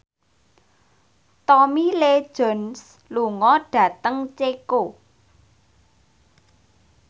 Tommy Lee Jones lunga dhateng Ceko